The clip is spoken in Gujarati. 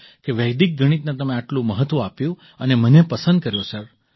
કે વૈદિક ગણિતને તમે આટલું મહત્ત્વ આપ્યું અને મને પસંદ કર્યો સર